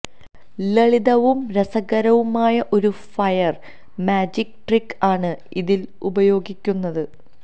ലളിതവും രസകരവുമായ ഒരു ഫയർ മാജിക് ട്രിക് ആണ് ഇതിൽ ഉപയോഗിക്കുന്നത്